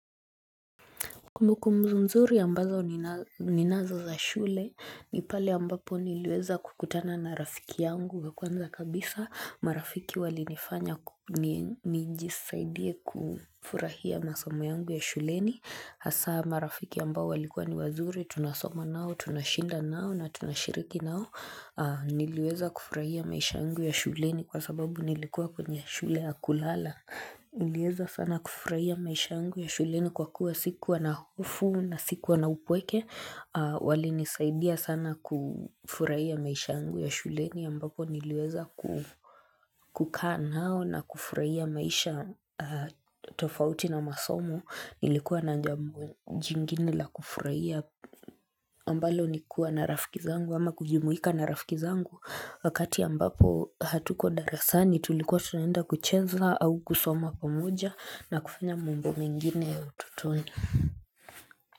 Kumbukumbu nzuri ambazo ninazo za shule, ni pale ambapo niliweza kukutana na rafiki yangu wa kwanza kabisa, marafiki walinifanya nijisaidie kufurahia masomo yangu ya shuleni, hasa marafiki ambao walikua ni wazuri, tunasomo nao, tunashinda nao na tunashiriki nao, niliweza kufurahia maisha yangu ya shuleni kwa sababu nilikuwa kwenye shule ya kulala. Niliweza sana kufurahia maisha yangu ya shuleni kwa kuwa sikuwa na hofu na sikuwa na upweke Walinisaidia sana kufurahia maisha yangu ya shuleni ambapo niliweza kukaa nao na kufurahia maisha tofauti na masomo nilikuwa na jambo jingine la kufurahia ambalo ni kuwa na rafiki zangu ama kujimuika na rafiki zangu wakati ambapo hatuko darasani tulikuwa tunaenda kucheza au kusoma pamoja na kufanya mambo mengine ya utotoni.